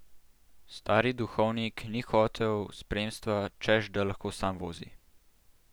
Stari duhovnik ni hotel spremstva, češ da lahko sam vozi.